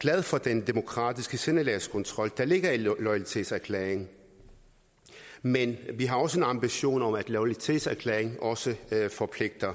glad for den demokratiske sindelagskontrol der ligger i loyalitetserklæringen men vi har også en ambition om at loyalitetserklæringen også forpligter